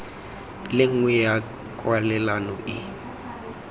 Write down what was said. le nngwe ya kwalelano e